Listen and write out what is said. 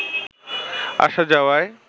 আসা যাওয়ায়